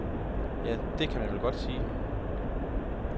Ja, det kan man vel godt sige.